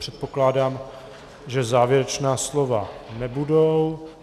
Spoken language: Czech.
Předpokládám, že závěrečná slova nebudou.